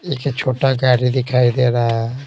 एक छोटा गाड़ी दिखाई दे रहा है।